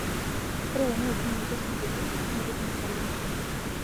ore teneishunye ele singolio nipik metallica